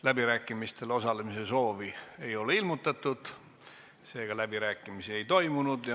Läbirääkimistel osalemise soovi ei ole ilmutatud, seega läbirääkimisi ei tule.